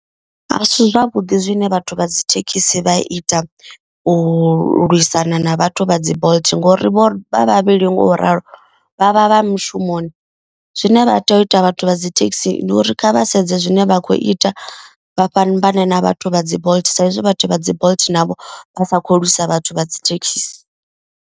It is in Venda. A si zwavhuḓi zwine vhathu vha dzi thekhisi vha ita u lwisana na vhathu vha dzi bolt. Ngori vho vha vhavhili ngo ralo vha vha vha mushumoni zwine vha tea u ita vhathu vha dzi thekhisi ndi uri kha vha sedze zwine vha kho ita. Vha fhambane na vhathu vha dzi bolt sa izwi vhathu vha dzi bolt navho vha sa kho lwisa vhathu vha dzi thekhisi.